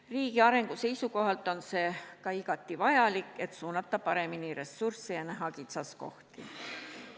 Riigi arengu seisukohalt on see ka igati vajalik, et suunata paremini ressursse ja näha kitsaskohti.